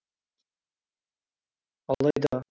алайда